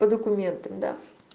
по документам да